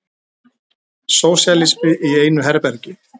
Sósíalismi í einu herbergi.